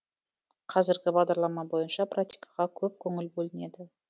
қазіргі бағдарлама бойынша практикаға көп көңіл бөлінеді